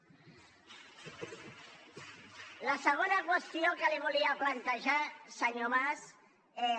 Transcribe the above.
la segona qüestió que li volia plantejar senyor mas és